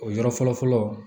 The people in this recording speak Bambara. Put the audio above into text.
O yɔrɔ fɔlɔ fɔlɔ fɔlɔ